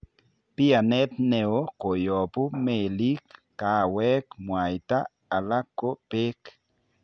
Bianeet neoo koyobu meelik, kaweek, muaita ala ko beek